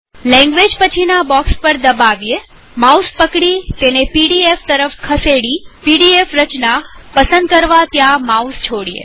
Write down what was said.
language પછીના box પર દબાવીએમાઉસ પકડી તેને પીડીએફ તરફ ખસેડી અને પીડીએફ રચના પસંદ કરવા ત્યાં માઉસ છોડીએ